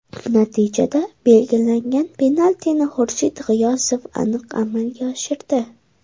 Natijada belgilangan penaltini Xurshid G‘iyosov aniq amalga oshirdi.